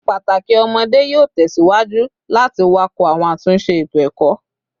Pataki ọmọde yoo tẹsiwaju lati wakọ awọn atunṣe eto-ẹkọ